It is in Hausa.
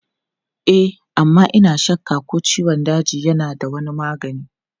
E amma ina shakka ko ciwon daji yana da wani magani.